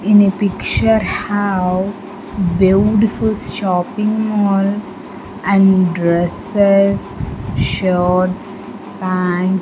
In a picture have beautiful shopping mall and dresses shirts pant --